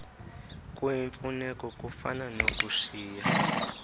kuyimfuneko kufana nokushiya